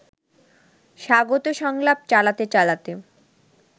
স্বাগত সংলাপ চালাতে চালাতে